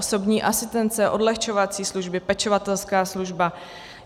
Osobní asistence, odlehčovací služby, pečovatelská služba.